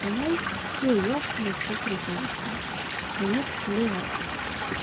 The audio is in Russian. со мной все ясно и все прекрасно мне плевать